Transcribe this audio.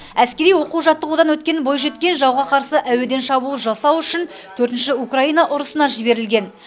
әскери оқу жаттығудан өткен бойжеткен жауға қарсы әуеден шабуыл жасау үшін төртінші украина ұрысына жіберілген